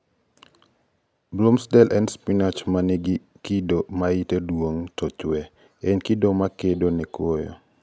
Bloomsdale en spinach ma ni gi kido ma yite duong to chwee- en kido ma kedo ne koyo.